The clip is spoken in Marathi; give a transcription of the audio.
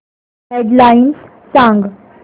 हेड लाइन्स सांग